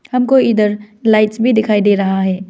हमको इधर लाइट्स भी दिखाई दे रहा है।